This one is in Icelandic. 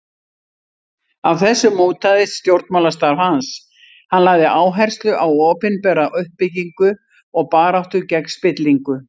Af þessu mótaðist stjórnmálastarf hans, hann lagði áherslu á opinbera uppbyggingu og baráttu gegn spillingu.